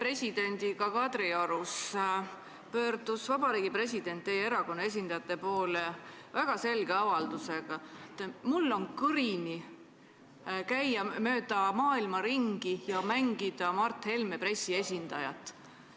Hiljuti Kadriorus pöördus president teie erakonna esindajate poole väga selge avaldusega, et tal on kõrini sellest, et ta peab käima mööda maailma ringi ja mängima Mart Helme pressiesindajat.